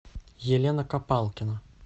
елена копалкина